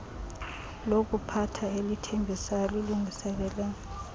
lokuphatha elithembisayo lilungiselela